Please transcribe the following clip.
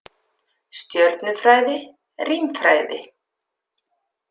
Stjörnufræði, rímfræði.